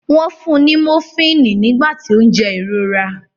Wọ́n fun ní mofíìnì nígbà tí ó ń jẹ ìrora.